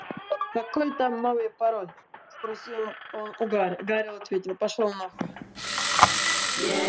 какой там новый пароль спросил он у гарри